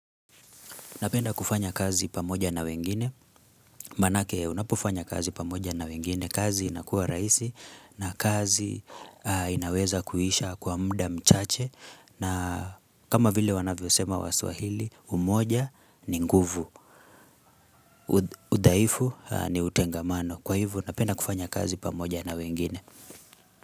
Napenda kufanya kazi pamoja na wengine, manake unapofanya kazi pamoja na wengine, kazi inakuwa rahisi na kazi inaweza kuisha kwa mda mchache na kama vile wanavyo sema waswahili, umoja ni nguvu, udhaifu ni utengamano. Kwa hivo napenda kufanya kazi pamoja na wengine.